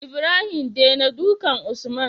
Ibrahim dena dukan usman